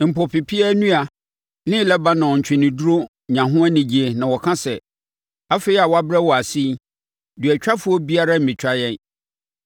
Mpo, pepeaa nnua ne Lebanon ntweneduro nya ho anigyeɛ na wɔka sɛ, “Afei a wɔabrɛ wo ase yi, duatwafoɔ biara remmetwa yɛn.”